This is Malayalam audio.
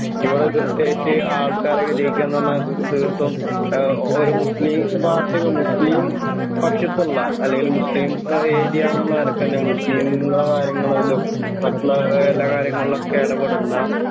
ഇവിടെ കൃത്യായിട്ട് ആൾക്കാരൊക്കെ ജയിക്കാന്ന് പറഞ്ഞ ത് തീർത്തും ആഹ് ഒരു മുസ്‌ലിം പാർട്ടി മുസ്ലിം പക്ഷത്തുള്ള അല്ലെങ്കിൽ മുസ്ലിം ഏരിയ എന്നുള്ള നിലക്ക് തന്നെ മുസ്ലീമുകളുടെ കാര്യങ്ങളിലും മറ്റുള്ള എല്ലാ കാര്യങ്ങളിലൊക്കെ ഇടപെടുന്ന